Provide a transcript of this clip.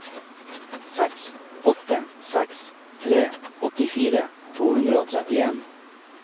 seks åtte seks tre åttifire to hundre og trettien